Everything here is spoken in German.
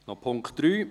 Punkt 3